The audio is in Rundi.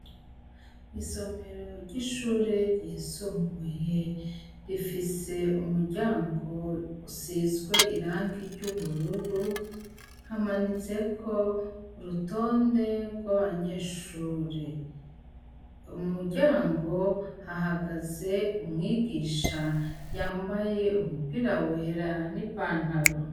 Isomero ry'ishure ryisumbuye rifise umuryango usizwe irangi ry'ubururu; hamanitsweko urutonde rw'abanyeshure. Mu muryango hahagaze umwigisha yambaye umupira wera n'ipantaro.